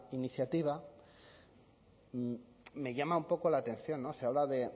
iniciativa me llama un poco la atención no se habla de